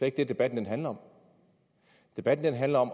ikke det debatten handler om debatten handler om